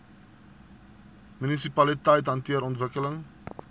munisipaliteite hanteer ontwikkeling